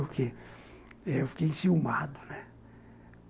Porque eu fiquei enciumado, né?